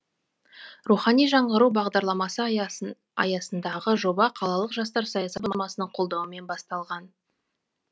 рухани жаңғыру бағдарламасы аясындағы жоба қалалық жастар саясаты басқармасының қолдауымен басталған